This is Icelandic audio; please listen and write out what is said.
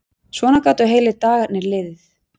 Svona gátu heilu dagarnir liðið.